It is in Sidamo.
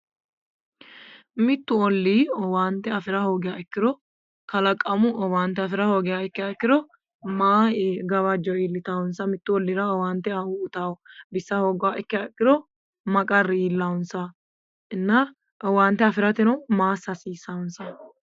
Mittu oli owaante afi'ra hoogiha ikkiro kalaqamu owaante afi'ra hoogiha ikkiro may gawajjo iillitawonsa? Mittu ollira owaante uytanno bissa hooguro may qarri iillansa inna, owaante afi'rateno maa assa hasiissansa?